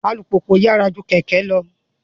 Alupupu yyara ju kẹkẹ lọ